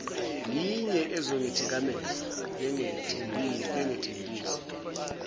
yinye ezongithikameza bengethembise